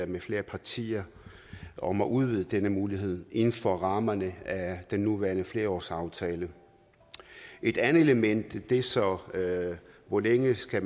med flere partier om at udvide denne mulighed inden for rammerne af den nuværende flerårsaftale et andet element er så hvor længe man skal